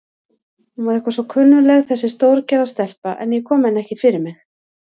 Hún var eitthvað svo kunnugleg þessi stórgerða stelpa, en ég kom henni ekki fyrir mig.